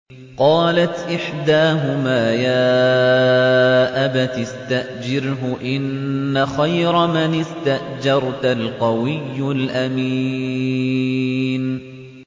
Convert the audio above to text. قَالَتْ إِحْدَاهُمَا يَا أَبَتِ اسْتَأْجِرْهُ ۖ إِنَّ خَيْرَ مَنِ اسْتَأْجَرْتَ الْقَوِيُّ الْأَمِينُ